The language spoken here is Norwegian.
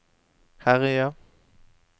herje